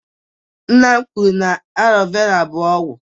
Nna m kwuru na alọ vera bụ ọgwụ